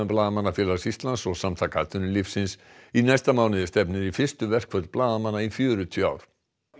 Blaðamannafélags Íslands og Samtaka atvinnulífsins í næsta mánuði stefnir í fyrstu verkföll blaðamanna í fjörutíu ár